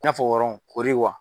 I n'a fɔ ɔrɔn koori wa.